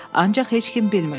Ancaq heç kim bilmirdi.